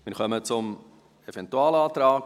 Wir kommen zum Eventualantrag.